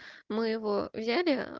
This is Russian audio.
мы его взяли